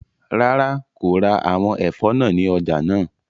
Rara, ko ra awọn ẹfọ naa ni ọja naa